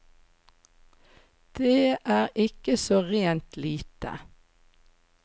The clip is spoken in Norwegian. Det er ikke så rent lite.